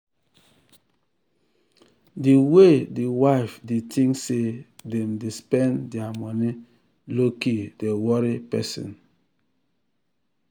the way the wife they think say them dey spend their money lowkey dey worry person.